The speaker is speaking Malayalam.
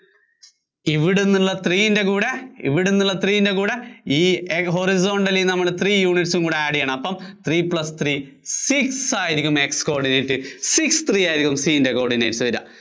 three ഇവിടുന്നുള്ള യിന്‍റെ കൂടെ ഇവിടുന്നുള്ള three യിന്‍റെ കൂടെ ഈ horizontal ലീന്ന് നമ്മള്‍ three units ഉം കൂടി add ചെയ്യണം അപ്പോ three plus three six ആയിരിയ്ക്കും X coordinate six three ആയിരിയ്ക്കും three യിന്‍റെ coordinates വര്വാ.